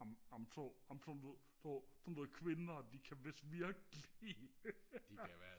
amen sådan sådan nogle kvinder de kan vidst virke lige